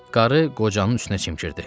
Qarı qocanın üstünə çimkirdi.